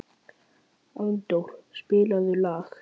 Arndór, spilaðu lag.